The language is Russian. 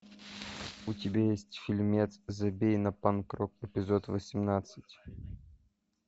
у тебя есть фильмец забей на панк рок эпизод восемнадцать